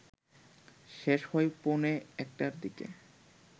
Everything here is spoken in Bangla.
শেষ হয় পৌণে একটার দিকে